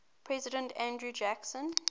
president andrew jackson